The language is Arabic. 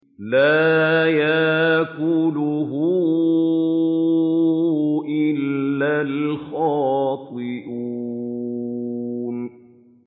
لَّا يَأْكُلُهُ إِلَّا الْخَاطِئُونَ